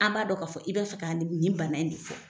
An b'a dɔ ka fɔ i bɛ fɛ ka ni m nin bana in de fɔ.